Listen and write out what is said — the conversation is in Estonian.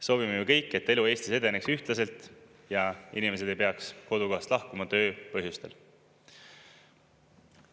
Soovime ju kõik, et elu Eestis edeneks ühtlaselt ja inimesed ei peaks kodukohast lahkuma töö põhjustel.